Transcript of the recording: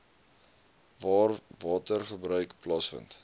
waar watergebruik plaasvind